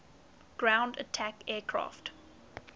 ground attack aircraft